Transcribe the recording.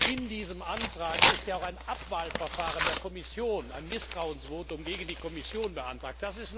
In diesem Antrag ist auch ein Abwahlverfahren der Kommission, ein Misstrauensvotum gegen die Kommission beantragt.